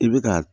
I bɛ ka